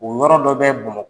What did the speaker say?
O yɔrɔ dɔ bɛ bamakɔ